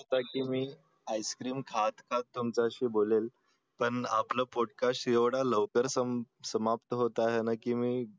मी ice cream खात खात तुमच्याशी बोलेल पण आपलं पोटकाश एवढ्या लवकर समाप्त होत आहे न कि मी